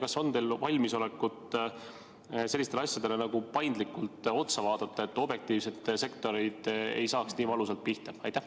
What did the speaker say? Kas teil on valmisolekut selliseid asju paindlikult vaadata, et sektorid ei saaks nii valusalt pihta?